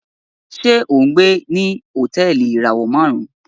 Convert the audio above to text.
Ṣe o ngbé ní Hotẹẹli ìràwọ márùn?